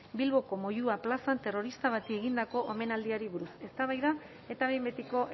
bilboko moyua plazan terrorista bati egindako omenaldiari buruz eztabaida eta behin betiko